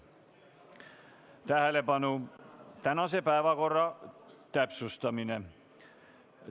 Tähelepanu, tänase päevakorra täpsustamine!